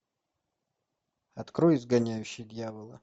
открой изгоняющий дьявола